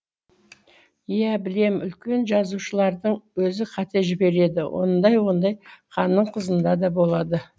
иә білем үлкен жазушылардың өзі қате жібереді ондай ондай ханның қызында да болады